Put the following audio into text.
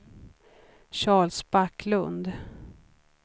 Charles Backlund